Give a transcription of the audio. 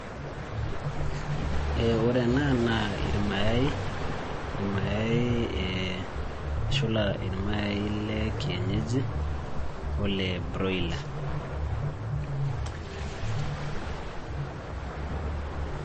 Ore ena naa irmayai, irmayai eshula irmayai lekienyeji, ole broiler.